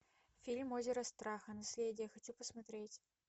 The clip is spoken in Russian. фильм озеро страха наследие хочу посмотреть